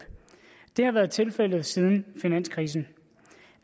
det har været tilfældet siden finanskrisen